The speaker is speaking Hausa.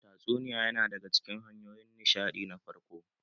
Tatsuniya ya na daga cikin hanyoyin nishaɗi na farko.